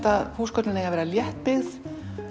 að húsgögnin eiga að vera léttbyggð